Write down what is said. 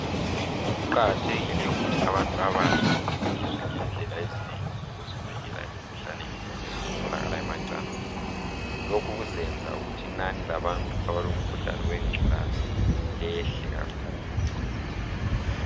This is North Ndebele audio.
Kuqakathekile ukuthi abantu abatsha bafundiswe ngendlela ezinengi zokuzivikela imikhuhlane etholakala emacansini. Lokhu kuzayenza ukuthi inani labantu abalomkhuhlane wengculaza lehle kakhulu.